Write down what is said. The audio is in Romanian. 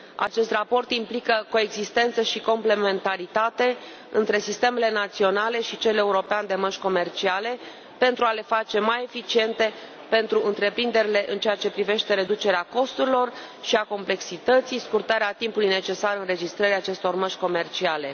Acest raport implică coexistență și complementaritate între sistemele naționale și cel european de mărci comerciale, pentru a le face mai eficiente pentru întreprinderi în ceea ce privește reducerea costurilor și a complexității și scurtarea timpului necesar înregistrării acestor mărci comerciale.